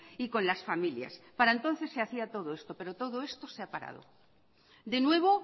y con las familias para entonces se hacía todo esto pero todo esto se ha parado de nuevo